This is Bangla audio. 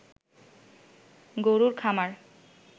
গরুর খামার